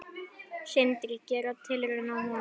Sindri: Gera tilraun á honum?